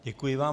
Děkuji vám.